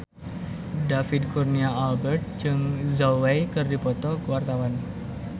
David Kurnia Albert jeung Zhao Wei keur dipoto ku wartawan